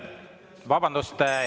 Vabandust!